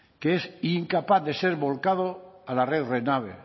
que es incapaz de ser volcado a la red renave